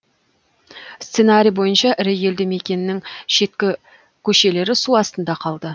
сценарий бойынша ірі елді мекеннің шеткі көшелері су астында қалды